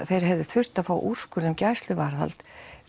þeir hefðu þurft að fá úrskurð um gæsluvarðhald